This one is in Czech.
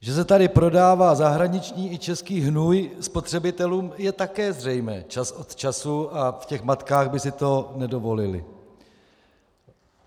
Že se tady prodává zahraniční i český hnůj spotřebitelům, je také zřejmé čas od času, a v těch matkách by si to nedovolili.